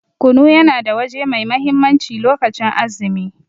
Kunu yana da waje mai mahimmanci lokacin azumi.